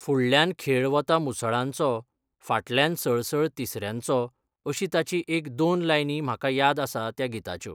फुडल्यान खेळ वता मुसळांचो फाटल्यान सळसळ तिसऱ्यांचो अशी ताची एक दोन लायनी म्हाका याद आसा त्या गिताच्यो.